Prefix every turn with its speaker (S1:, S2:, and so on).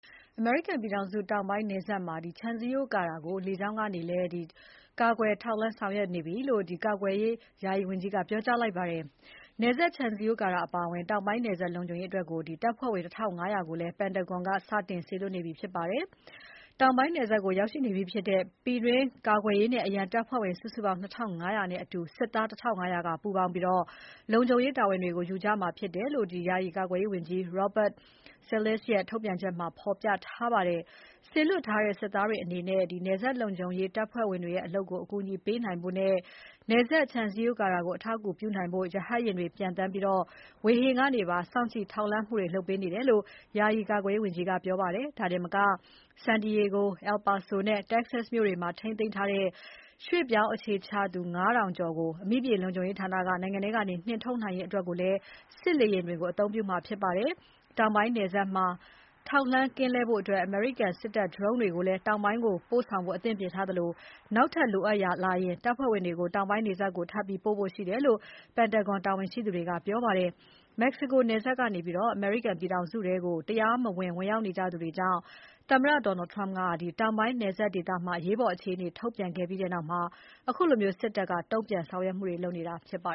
S1: အမေရိကန်ပြည်ထောင်စုတောင်ပိုင်းမှာ ခြံစည်းရိုးကာတာကို လေကြောင်းကနေလည်း လုံခြုံရေးယူဆောင်ရွက်နေပြီလို့ ကာကွယ်ရေး ယာယီဝန်ကြီးက ပြောကြားလိုက်ပါတယ်။ နယ်စပ်ခြံစည်းရိုးကာတာအပါအဝင် တောင်ပိုင်းနယ်စပ်လုံခြုံရေးအတွက် တပ်ဖွဲ့ဝင် ၁၅၀၀ ကိုလည်း ပန်တာဂွန်စစ်ဌာနချုပ်က စတင်စေလွှတ်နေပြီဖြစ်ပါတယ်။ တောင်ပိုင်းနယ်စပ်ကို ရောက်ရှိနေပြီးဖြစ်တဲ့ ပြည်တွင်းကာကွယ်ရေးနဲ့ အရန်တပ်ဖွဲ့ဝင် စုစုပေါင်း ၂၅၀၀ နဲ့အတူ စစ်သား ၁၅၀၀ ကပူးပေါင်းပြီး လုံခြုံရေးတာဝန်တွေ ယူကြမှာဖြစ်တယ်လို့ ယာယီကာကွယ်ရေးဝန်ကြီး Robert Salesses ရဲ့ ထုတ်ပြန်ချက်မှာ ဖော်ပြထားပါတယ်။ စေလွှတ်ထားတဲ့ စစ်သားတွေအနေနဲ့ နယ်စပ်လုံခြုံရေးတပ်ဖွဲ့ဝင်တွေရဲ့ အလုပ်ကို အကူအညီပေးနိုင်ဖို့နဲ့ နယ်စပ်ခြံစည်းရိုးကာတာကို အထောက်အကူပြုနိုင်ဖို့ ရဟတ်ယာဉ်တွေ ပျံသန်းပြီး ဝေဟင်ကနေ ထောက်လှမ်းမှုတွေ လုပ်ပေးနေတယ်လို့ ယာယီကာကွယ်ရေးဝန်ကြီးက ပြောပါတယ်။ ဒါတင်မက San Diego, El Paso နဲ့ Texas တို့မှာ ထိန်းသိမ်းထားတဲ့ ရွှေ့ပြောင်းအခြေချသူ ၅ ထောင်ကျော်ကို အမိမြေလုံခြုံရေးဌာနက နိုင်ငံထဲကနေ နှင်ထုတ်နိုင်ရေးအတွက်လည်း စစ်လေယာဉ်တွေကို အသုံးပြုမှာဖြစ်ပါတယ်။ တောင်ပိုင်းနယ်စပ်မှာ ထောက်လှမ်းကင်းလှည့်ဖို့ အမေရိကန် စစ်တပ်ဒရုန်းတွေကိုလည်း တောင်ပိုင်းကို ပို့ဆောင်ဖို့ အသင့်ပြင်ထားသလို နောက်ထပ်လိုအပ်လာရင် တပ်ဖွဲ့ဝင်တွေကို တောင်ပိုင်းနယ်စပ်ကို ထပ်ပြီး ပို့ဖို့ရှိတယ်လို့ ပန်တာဂွန်စစ်ဌာနချုပ်တာဝန်ရှိသူတွေက ပြောပါတယ်။ မက်ဆီကိုနယ်စပ်ကနေ အမေရိကန်ပြည်ထောင်စုထဲ တရားမဝင် ဝင်ရောက်နေသူတွေကြောင့် သမ္မတ Donald Trump က တောင်ပိုင်းနယ်စပ်ဒေသမှာ အရေးပေါ် အခြေအနေထုတ်ပြန်ခဲ့ပြီးနောက် ခုလို စစ်တပ်က တုံ့ပြန်ဆောင်ရွက်မှုတွေ လုပ်နေတာဖြစ်ပါ